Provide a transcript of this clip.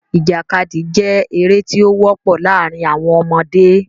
Ìjàkadì jẹ́ eré tí ó wọ́pọ̀ láàrin àwọn ọmọdé.